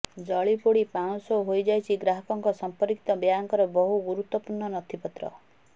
ଜଳି ପୋଡ଼ି ପାଉଁଶ ହୋଇଯାଇଛି ଗ୍ରାହକଙ୍କ ସଂପର୍କିତ ବ୍ୟାଙ୍କର ବହୁ ଗୁରୁତ୍ବପୂର୍ଣ୍ଣ ନଥିପତ୍ର